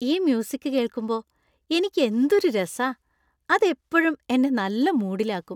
ഈ മ്യൂസിക് കേൾക്കുമ്പോൾ എനിക്ക് എന്തൊരു രസാ. അത് എപ്പഴും എന്നെ നല്ല മൂഡിലാക്കും .